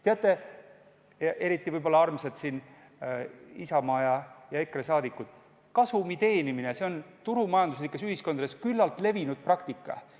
Teate, eriti võib-olla siinsed armsad Isamaa ja EKRE liikmed, kasumi teenimine on turumajanduslikes ühiskondades üsna levinud praktika.